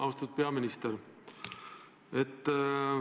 Austatud peaminister!